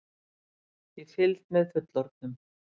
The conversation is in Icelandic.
Í fylgd með fullorðnum!